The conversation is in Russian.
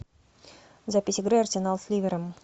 запись игры арсенал с ливером